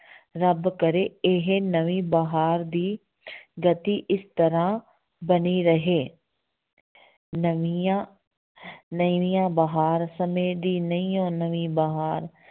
ਰੱਬ ਕਰੇ ਇਹ ਨਵੀਂ ਬਹਾਰ ਦੀ ਗਤੀ ਇਸ ਤਰ੍ਹਾਂ ਬਣੀ ਰਹੇ ਨਵੀਆਂ ਨਵੀਂ ਬਹਾਰ, ਸਮੇਂ ਦੀ ਨਵੀਓਂ ਨਵੀਂ ਬਹਾਰ।